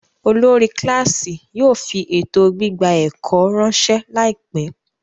Olórí kíláàsì yóò fi ètò gbígba ẹ̀kọ́ ráńṣẹ́ láìpẹ́.